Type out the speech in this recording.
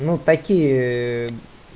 ну такие ээ